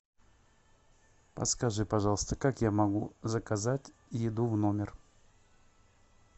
подскажи пожалуйста как я могу заказать еду в номер